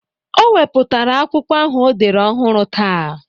O wepụtara akwụkwọ ahụ o dere ọhụrụ taa.